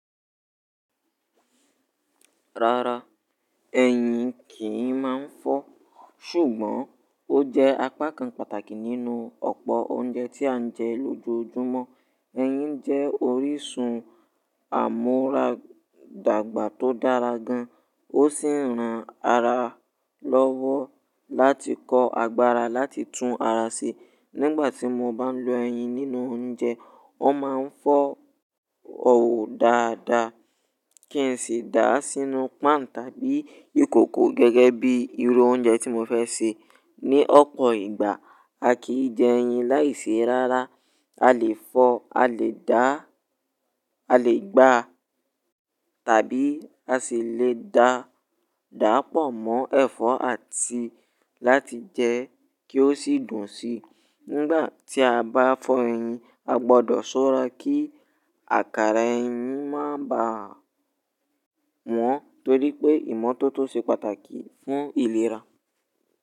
Rárá, ẹyin kì í máa ń fọ́, ṣùgbọ́n ó jẹ́ apá kan pàtàkì nínú ọ̀pọ̀ oúnjẹ tí à ń jẹ lójoojúmọ́. Ẹyin jẹ́ orísun àmúradàgbà tó dára gan, ó sì ń ran ara lọ́wọ́ láti kọ agbára láti tún ara ṣe. Nígbà tí mo bá lọ ẹyin nínú oúnjẹ, wọ́n máa ń fọ́ òwò dáadáa, kí n sì dàá sínú páànù tàbí ìkòkò gẹ́gẹ́ bí irú oúnjẹ tí mo fẹ́ sè. Ni ọ̀pọ̀ ìgbà, a kì í jẹ ẹyin láì ṣe rárá. A lè fọ́, a lè gbá tàbí a sì lè dàá pọ̀ mọ́ ẹ̀fọ́ àti láti jẹ́ kí ó sì dùn síi Nígbà tí a bá fọ ẹyin, a gbọ́dọ̀ ṣọ́ra kí àkàrà ẹyin má bà a wọ́n, torí pé ìmọ́tótó ṣe pàtàkì fún ìlera.